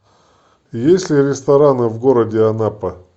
есть ли рестораны в городе анапа